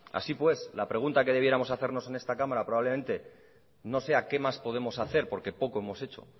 así pues la pregunta que debiéramos hacernos en esta cámara probablemente no sea qué más podemos hacer porque poco hemos hecho